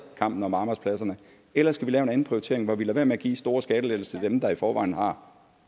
kampen om arbejdspladserne eller skal vi lave en anden prioritering hvor vi lader være med at give store skattelettelser til dem der i forvejen har